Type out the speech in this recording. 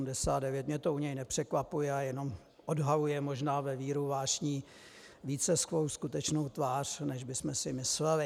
Mě to u něj nepřekvapuje a jenom odhaluje možná ve víru vášní více svou skutečnou tvář, než bychom si mysleli.